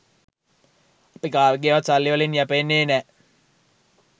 අපි කාගේවත් සල්ලි වලින් යැපෙන්නේ නෑ.